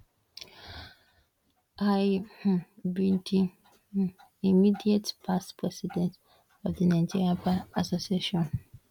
i um be di um immediate past president of di nigerian bar association